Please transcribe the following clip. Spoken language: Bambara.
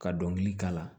Ka dɔnkili k'a la